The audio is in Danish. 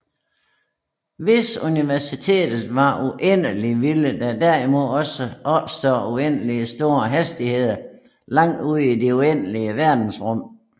Hvis Universet var uendeligt ville der dermed opstå uendeligt store hastigheder langt ude i det uendelige verdensrum